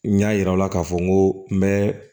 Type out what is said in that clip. N y'a yira la k'a fɔ n ko n bɛ